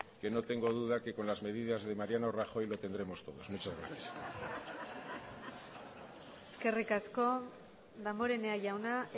que no tengo duda que con las medidas de mariano rajoy lo tendremos todos muchas gracias eskerrik asko damborenea jauna